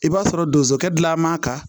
I b'a sɔrɔ donsokɛ gilan man kan